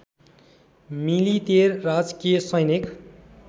मिलितेर राजकीय सैनिक